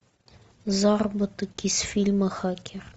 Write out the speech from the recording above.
заработок из фильма хакер